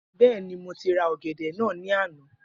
Bẹẹni, mo ti ra ọ̀gẹ̀dẹ̀ náà ní àná.